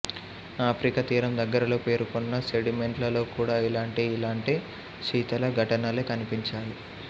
Africa తీరం దగ్గరలో పేరుకున్న సెడిమెంట్లలో కూడా ఇలాంటి ఇలాంటి శీతల ఘటనలే కనిపించాయి